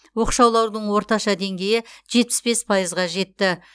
оқшаулаудың орташа деңгейі жетпіс бес пайызға жетті